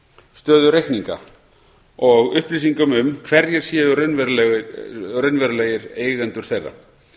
stöðu reikninga og upplýsingum um hverjir séu raunverulegir eigendur þeirra